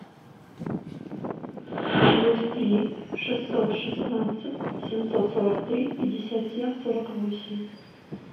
плюс три шестьсот шестнадцать семьсот сорок три пятьдесят семь сорок восемь